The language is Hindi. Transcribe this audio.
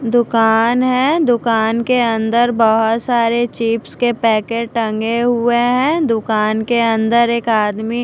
दुकान है दुकान के अंदर बहुत सारे चिप्स के पैकेट टंगे हुए हैं दुकान के अन्दर एक आदमी--